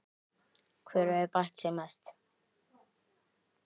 Hver hefur bætt sig mest?